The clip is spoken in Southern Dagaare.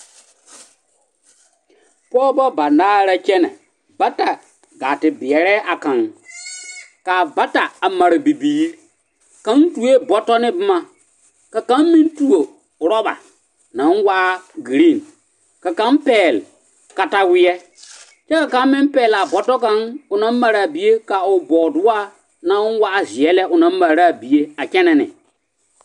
Pɔgebɔ banaare la kyɛnɛ bata gaa te beɛrɛɛ a kaŋ, k'a bata a mare bibiiri, kaŋ tuo bɔtɔ ne boma ka kaŋ meŋ tuo roba naŋ waa giriin, ka kaŋ pɛgele kataweɛ kyɛ ka kaŋ meŋ pɛgele a bɔtɔ kaŋ o naŋ mare a bie ka o bɔɔdogaa naŋ waa zeɛ lɛ o naŋ mare ne a bie a kyɛnɛ ne.